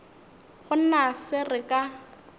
go na se re ka